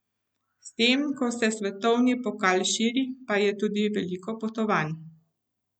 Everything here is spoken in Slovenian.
S tem, ko se svetovni pokal širi, pa je tudi veliko potovanj.